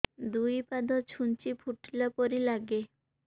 ଦୁଇ ପାଦ ଛୁଞ୍ଚି ଫୁଡିଲା ପରି ଲାଗେ